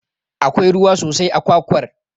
Akwai ruwa sosai a kwakwar.